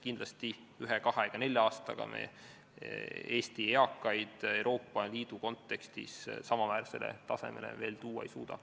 Kindlasti ühe, kahe ega nelja aastaga me Eesti eakaid Euroopa Liidu kontekstis samaväärsele tasemele tuua veel ei suuda.